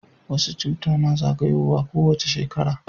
wasu cuta na zagayowa ko wace shekara